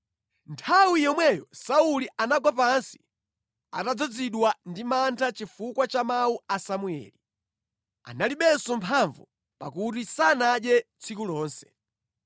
Nthawi yomweyo Sauli anagwa pansi atadzazidwa ndi mantha chifukwa cha mawu a Samueli. Analibenso mphamvu, pakuti sanadye tsiku lonse.